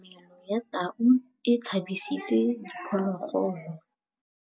Katamêlô ya tau e tshabisitse diphôlôgôlô.